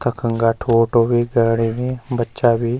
तखम गा ऑटो भी गाडी भी बच्चा भी।